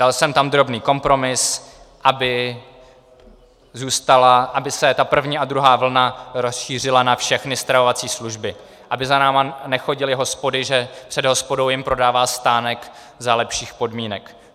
Dal jsem tam drobný kompromis, aby zůstala, aby se ta první a druhá vlna rozšířila na všechny stravovací služby, aby za námi nechodily hospody, že před hospodou jim prodává stánek za lepších podmínek.